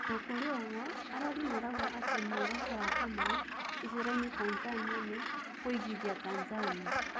Ona kũrĩ ũguo arori marauga ati muoroto wa Kamau icerainĩ Tanzania nĩ kũiguithia Tanzania